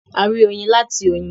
A rí oyin láti oyin.